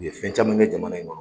U ye fɛn caman kɛ jamana in kɔnɔ.